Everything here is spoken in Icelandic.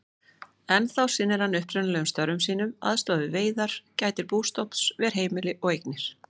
Ennþá sinnir hann upprunalegum störfum sínum, aðstoðar við veiðar, gætir bústofns, ver heimili og eignir.